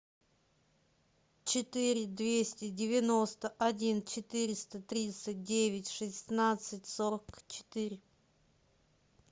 четыре двести девяносто один четыреста тридцать девять шестнадцать сорок четыре